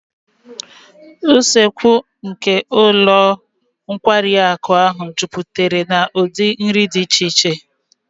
Usekwu nke ụlọ nkwari akụ ahụ juputara na ụdị nri dị iche iche